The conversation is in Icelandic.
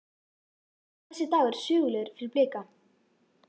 Verður þessi dagur sögulegur fyrir Blika?